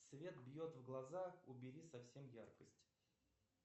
свет бьет в глаза убери совсем яркость